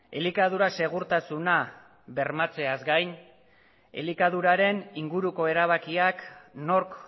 elikadura segurtasuna bermatzeaz gain elikaduraren inguruko erabakiak nork